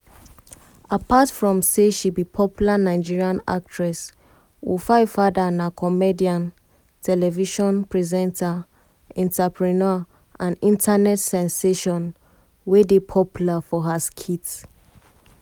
apart from say she be popular nigerian actress wofaifada na comedian television presenter entrepreneur and internet sensation sensation wey dey popular for her skits.